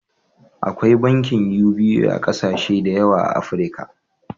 Akwai bankin UBA a kasashe da yawa a Afrika.